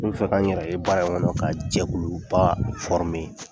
N be fɛ ka n yɛrɛ ye baara in kɔnɔ ka jɛkuluba fɔrime